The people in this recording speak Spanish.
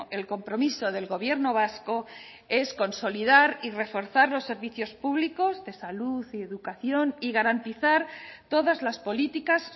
el compromiso del gobierno vasco es consolidar y reforzar los servicios públicos de salud y educación y garantizar todas las políticas